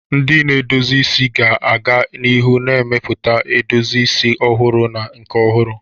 Ndị na-edozi isi ga-aga n'ihu na-emepụta edozi isi ọhụrụ na nke ọhụrụ.